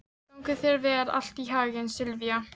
Gangi þér allt í haginn, Silvía.